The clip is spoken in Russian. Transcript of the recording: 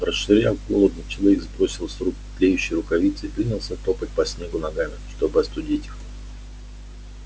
расшвыряв головни человек сбросил с рук тлеющие рукавицы и принялся топать по снегу ногами чтобы остудить их